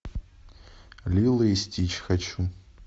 лило и стич хочу